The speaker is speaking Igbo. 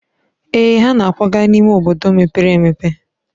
Èè, ha na-akwaga n'ime obodo mepere e.